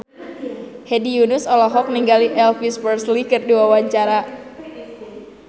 Hedi Yunus olohok ningali Elvis Presley keur diwawancara